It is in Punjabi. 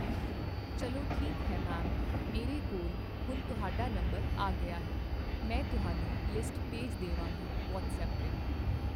ਚੱਲੋਠੀਕ ਹੈ ਮੈਮ ਮੇਰੇ ਕੋਲ ਹੁਣ ਤੁਹਾਡਾ ਨੰਬਰ ਆ ਗਿਆ ਮੈਂ ਤੁਹਾਨੂੰ ਲਿਸਟ ਭੇਜ ਦੇਵਾਂਗੀ ਵੱਅਟਸਅੱਪ 'ਤੇ